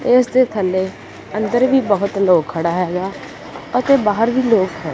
ਇਸ ਦੇ ਥੱਲੇ ਅੰਦਰ ਵੀ ਬਹੁਤ ਲੋਕ ਖੜਾ ਹੈਗਾ ਅਤੇ ਬਾਹਰ ਵੀ ਲੋਕ--